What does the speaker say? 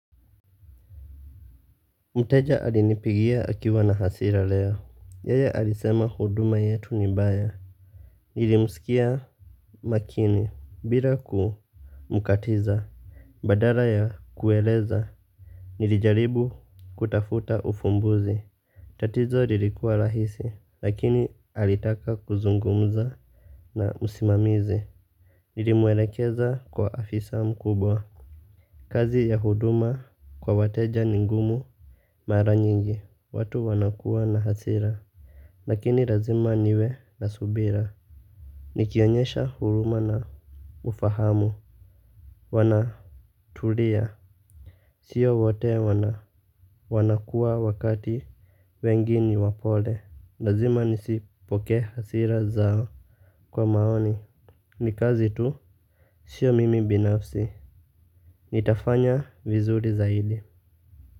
Mteja alinipigia akiwa na hasira leo, yeye alisema huduma yetu ni mbaya. Nilimsikia makini, bila kumkatiza. Badala ya kueleza, nilijaribu kutafuta ufumbuzi. Tatizo lilikuwa rahisi, lakini alitaka kuzungumza na msimamizi nilimuelekeza kwa afisa mkubwa. Kazi ya huduma kwa wateja ni ngumu. Mara nyingi, watu wanakuwa na hasira. Lakini lazima niwe na subira. Nikionyesha huruma na ufahamu. Wanatulia. Sio wote wanakuwa wakati wengi ni wapole. Lazima nisipokee hasira zao. Kwa maoni, ni kazi tu. Sio mimi binafsi, nitafanya vizuri zaidi.